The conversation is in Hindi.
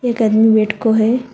एक आदमी वेट को है।